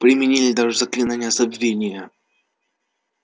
применили даже заклинание забвения